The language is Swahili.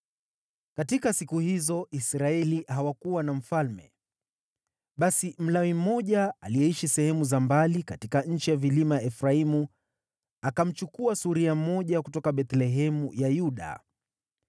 Katika siku hizo Israeli hawakuwa na mfalme. Basi Mlawi mmoja aliyeishi sehemu za mbali katika nchi ya vilima ya Efraimu, akamchukua suria mmoja kutoka Bethlehemu ya Yuda.